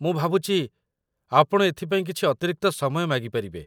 ମୁଁ ଭାବୁଛି ଆପଣ ଏଥିପାଇଁ କିଛି ଅତିରିକ୍ତ ସମୟ ମାଗିପାରିବେ